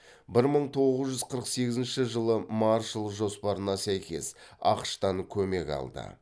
бір мың тоғыз жүз қырық сегізінші жылы маршалл жоспарына сәйкес ақш тан көмек алды